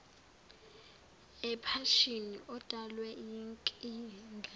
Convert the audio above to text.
ephashini udalwe yinkinga